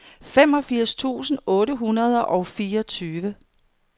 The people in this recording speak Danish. femogfirs tusind otte hundrede og fireogtyve